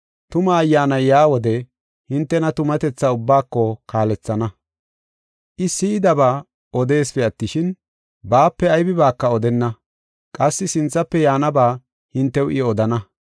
Tuma Ayyaanay yaa wode hintena tumatethaa ubbaako kaalethana. I si7idaba odeesipe attishin, baape aybibaaka odenna. Qassi sinthafe yaanaba hintew I odana.